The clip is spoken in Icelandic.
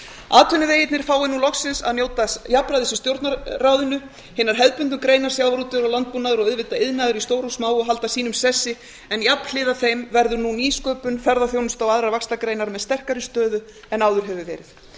atvinnuvegirnir fái nú loksins að njóta jafnræðis í stjórnarráðinu hinar hefðbundnu greinar sjávarútvegur og landbúnaður og auðvitað iðnaður í stóru og smáu halda sínum sessi en jafnhliða þeim verður nú nýsköpun ferðaþjónusta og aðrar vaxtargreinar með sterkari stöðu en áður hefur verið það